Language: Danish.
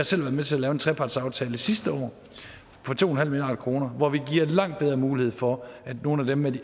selv været med til at lave en trepartsaftale sidste år for to milliard kr hvor vi giver langt bedre mulighed for at nogle af dem med de